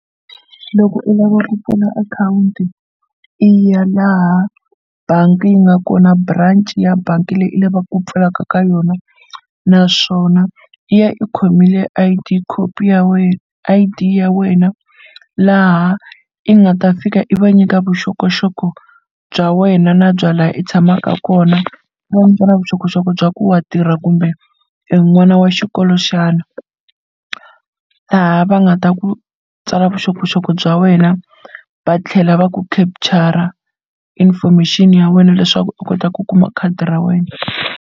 Loko u lava ku pfula akhawunti i ya laha bangi yi nga kona branch ya bangi leyi u lavaka ku pfalaka ka yona naswona i ya i khomile I_D copy ya wena I_D ya wena laha i nga ta fika i va nyika vuxokoxoko bya wena na bya la i tshamaka kona na vuxokoxoko bya ku wa tirha kumbe i n'wana wa xikolo xana, laha va nga ta ku tsala vuxokoxoko bya wena va tlhela va ku capture-a information ya wena leswaku u kota ku kuma khadi ra wena.